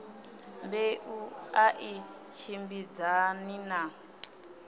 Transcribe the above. mbeu a i tshimbidzani na